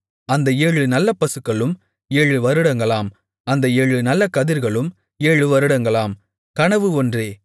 அந்த ஏழு நல்ல பசுக்களும் ஏழு வருடங்களாம் அந்த ஏழு நல்ல கதிர்களும் ஏழு வருடங்களாம் கனவு ஒன்றே